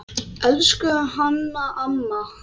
Elsku Hanna amma.